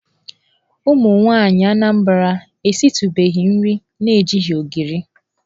Ụmụnwaanyị Anambra esitụbeghị nri na-ejighị ogiri.